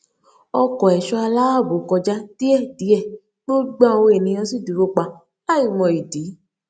ọkọ ẹṣọ àláàbò kọjá díẹdíẹ gbogbo àwọn ènìyàn sì dúró pa láì mọ ìdí